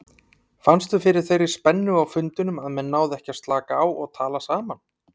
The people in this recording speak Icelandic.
Fannstu fyrir þeirri spennu á fundinum eða náðu menn að slaka á og tala saman?